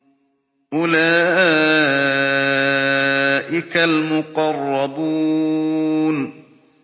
أُولَٰئِكَ الْمُقَرَّبُونَ